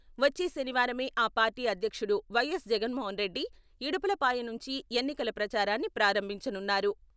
వచ్చే శనివారమే ఆ పార్టీ అధ్యక్షుడు వైఎస్ జగన్మోహన్రెడ్డి ఇడుపులపాయ నుంచి ఎన్నికల ప్రచారాన్ని ప్రారంభించనున్నారు.